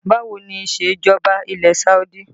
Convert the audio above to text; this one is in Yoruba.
Báwo ni isejọba ilẹ̀ Saudi?